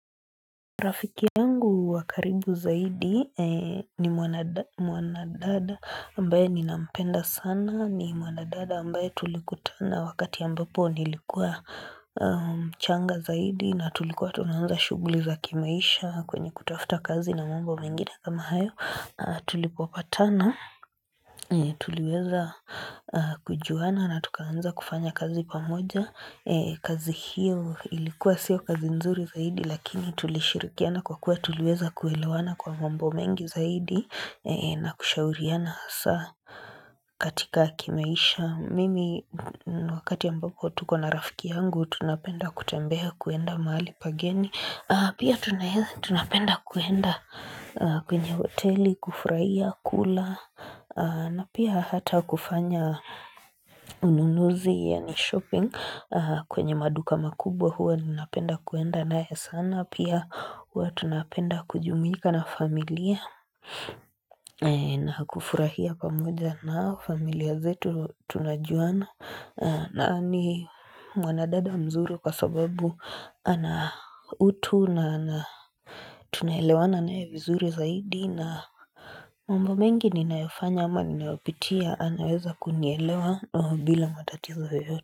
Rafiki ya wa karibu zaidi ni mwanadada ambaye ninampenda sana ni mwanadada ambaye tulikutana wakati ambapo nilikuwa mchanga zaidi na tulikuwa tunahanza shuguli za kimaisha kwenye kutafuta kazi na mambo mengine kama hayo tulipopatana Tuliweza kujuana na tukaanza kufanya kazi pamoja kazi hiyo ilikuwa sio kazi nzuri zaidi Lakini tulishirikiana kwa kuwa tuliweza kuelewana kwa mwambo mengi zaidi na kushauriana saa katika kimeisha Mimi wakati ambapo tuko na rafiki yangu tunapenda kutembeha kuenda mahali pageni Pia tunapenda kuenda kwenye oteli, kufraia, kula na pia hata kufanya ununuzi yaani shopping kwenye maduka makubwa huwa ninapenda kuenda naye sana, pia huwa tunapenda kujumuika na familia na kufurahia pamoja nao, familia zetu tunajuana, na ni mwanadada mzuri kwa sababu ana utu na tunaelewana naye vizuri zaidi. Mambo mengi ninayofanya ama ninayopitia anaweza kunielewa bila matatizo yoyote.